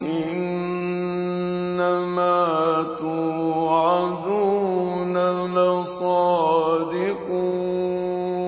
إِنَّمَا تُوعَدُونَ لَصَادِقٌ